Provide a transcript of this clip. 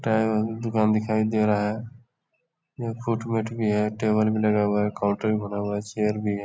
दुकान दिखाई दे रहा है। ये फूट - वूट भी है टेबल भी लगा हुआ है। काउंटर बना हुआ है चेयर भी है।